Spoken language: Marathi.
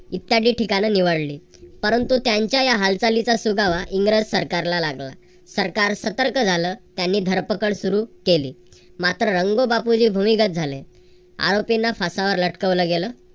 इत्यादी ठिकाणं निवडली. परंतु त्यांच्या हालचालीचा सुगावा इंग्रज सरकारला लागला. सरकार सतर्क झालं. त्यांनी धरपकड सुरू केली. मात्र रंगो बापूजी भूमिगत झाले. आरोपींना फासावर लटकवलं गेलं.